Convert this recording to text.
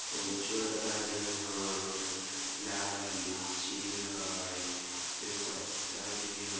लाल-लाल लीची हई एह में पत्ता भी हई।